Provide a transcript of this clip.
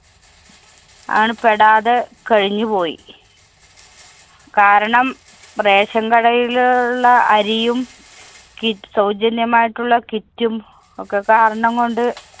ആണ് പെടാതെ കഴിഞ്ഞുപോയി. കാരണം ration കടയില് ഉള്ള അരിയും കി~ സൗജന്യമായിട്ടുള്ള kit ഉം ഒക്കെ കാരണംകൊണ്ട്